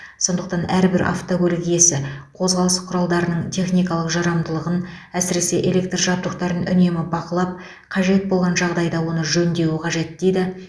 сондықтан әрбір автокөлік иесі қозғалыс құралдарының техникалық жарамдылығын әсіресе электр жабдықтарын үнемі бақылап қажет болған жағдайда оны жөндеуі қажет дейді